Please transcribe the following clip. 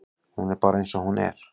Hún er bara eins og hún er.